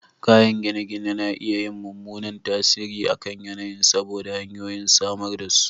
Kayan gine-gine na iya yin mummunan tasiri a kan yanayin saboda hanyoyin samar da su